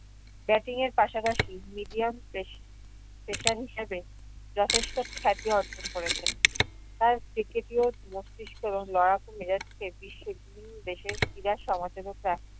batting এর পাশাপাশি medium প্রেস~ pressure হিসেবে যথেষ্ট খ্যাতি অর্জন করেছেন। তার cricket ইও মস্তিষ্ক এবং লড়াকু মেজাজকে বিশ্বের বিভিন্ন দেশে ক্রীড়া